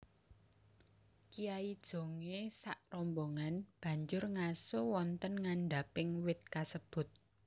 Kyai Jongé sakrombongan banjur ngaso wonten ngandhaping wit kasebut